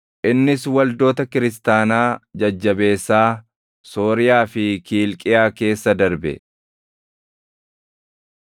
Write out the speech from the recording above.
Innis waldoota kiristaanaa jajjabeessaa Sooriyaa fi Kiilqiyaa keessa darbe.